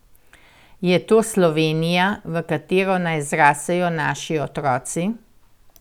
Je to Slovenija, v katero naj zrasejo naši otroci?